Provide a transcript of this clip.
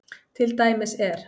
Til dæmis er